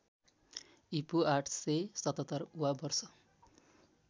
ईपू ८७७ वा वर्ष